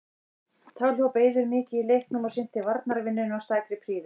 Þá hljóp Eiður mikið í leiknum og sinnti varnarvinnunni af stakri prýði.